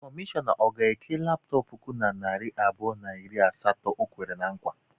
Kọmishọna ọ ga-eke laptọp puku na narị abụọ na iri asatọ o kwere na nkwa?